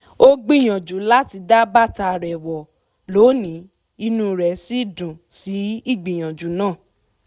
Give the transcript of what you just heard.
ó gbìyànjú láti dá bàtà rẹ̀ wọ̀ lónìí inú rẹ̀ sì dùn sí ígbìyànjú náà